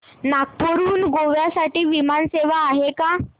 नागपूर हून गोव्या साठी विमान सेवा आहे का